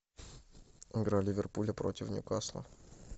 игра ливерпуля против ньюкасла